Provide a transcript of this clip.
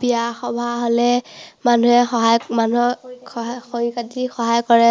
বিয়া সভা হ'লে মানুহে সহায়, মানুহৰ খৰি কাটি সহায় কৰে।